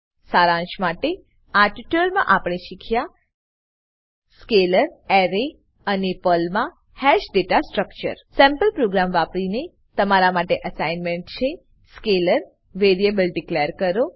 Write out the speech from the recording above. સારાંશ માટે આ ટ્યુટોરીયલમાં આપણે શીખ્યા સ્કેલર સ્કેલર અરે એરે અને પર્લમા hash data structure sample program વાપરીને તમારા માટે અસાઇનમેન્ટ છે સ્કેલર વેરિએબલ ડીકલેર કરો